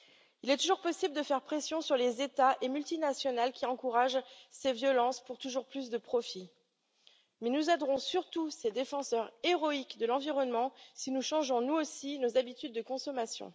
Il est toujours possible de faire pression sur les États et les multinationales qui encouragent ces violences pour toujours plus de profit, mais nous aiderons surtout ces défenseurs héroïques de l'environnement si nous changeons, nous aussi, nos habitudes de consommation.